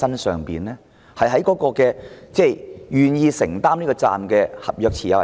是願意承擔責任的合約持有人嗎？